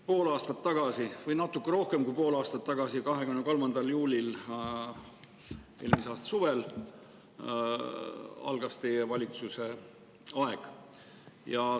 Pool aastat või natuke rohkem kui pool aastat tagasi, 23. juulil eelmise aasta suvel algas teie valitsuse aeg.